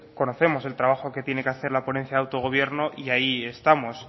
conocemos el trabajo que tiene que hacer la ponencia de autogobierno y ahí estamos